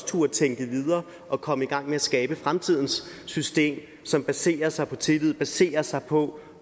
turde tænke videre og komme i gang med at skabe fremtidens system som baserer sig på tillid baserer sig på